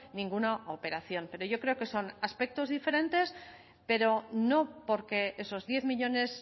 ninguna operación pero yo creo que son aspectos diferentes pero no porque esos diez millónes